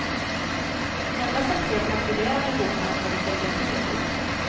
Endast de tre patrullerande båtarna hade telegrafi ombord.